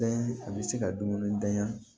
a bɛ se ka dumuni dayan